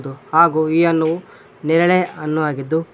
ಹಾಗೂ ಈ ಹಣ್ಣು ನೇರಳೆ ಹಣ್ಣು ಆಗಿದ್ದು--